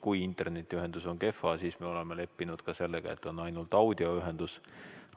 Kui internetiühendus on kehv, siis me oleme leppinud ka sellega, et on ainult audioühendus.